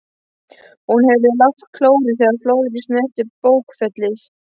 Hún heyrði lágt klórið þegar fjöðrin snerti bókfellið.